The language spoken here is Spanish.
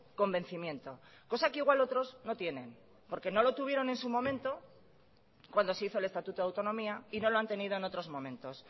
convencimiento cosa que igual otros no tienen porque no lo tuvieron en su momento cuando se hizo el estatuto de autonomía y no lo han tenido en otros momentos